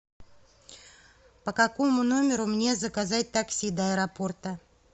по какому номеру мне заказать такси до аэропорта